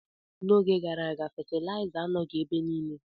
N'oge gara aga, fetilaiza anọghị ebe niile.